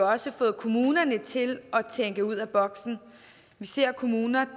også fået kommunerne til at tænke ud af boksen vi ser kommuner